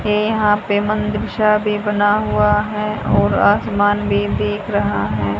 ये यहां पे मंदिर सा भी बना हुआ है और आसमान भी दिख रहा है।